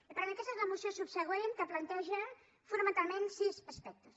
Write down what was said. i per tant aquesta és la moció subsegüent que planteja fonamentalment sis aspectes